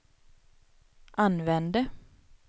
använde